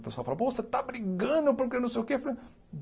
O pessoal fala, pô, você está brigando porque não sei o quê. Falei